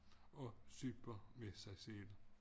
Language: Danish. Og sypar med sig selv